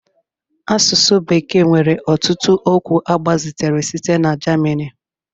Asụsụ bekee nwere ọtụtụ okwu agbazitere site na German